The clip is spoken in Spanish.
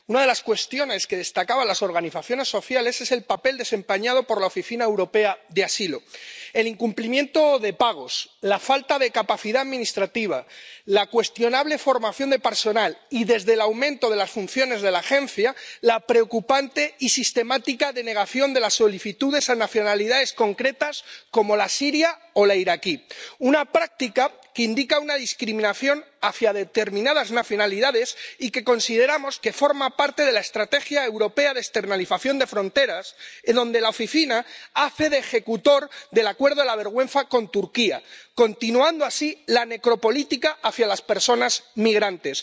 Una de las cuestiones que destacaban las organizaciones sociales es el papel desempeñado por la Oficina Europea de Apoyo al Asilo el incumplimiento de pagos, la falta de capacidad administrativa, la cuestionable formación de personal y, desde el aumento de las funciones de la agencia, la preocupante y sistemática denegación de las solicitudes a personas de nacionalidades concretas como la siria o la iraquí, una práctica que indica una discriminación hacia determinadas nacionalidades y que consideramos que forma parte de la estrategia europea de externalización de fronteras, en la que la Oficina hace de ejecutor del acuerdo la vergüenza con Turquía, continuando así la necropolítica hacia las personas migrantes.